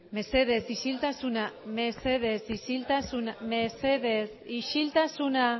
mesedez isiltasuna mesedez isiltasuna mesedez isiltasuna